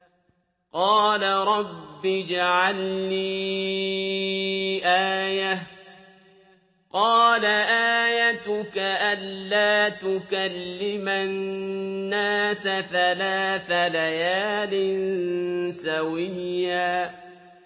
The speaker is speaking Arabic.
قَالَ رَبِّ اجْعَل لِّي آيَةً ۚ قَالَ آيَتُكَ أَلَّا تُكَلِّمَ النَّاسَ ثَلَاثَ لَيَالٍ سَوِيًّا